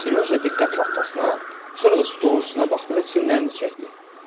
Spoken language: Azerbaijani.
Siryoja diqqətlə atasına, sonra da stolun üstünə baxdı və çiyinlərini çəkdi.